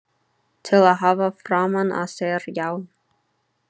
Til að hafa framan á sér, já.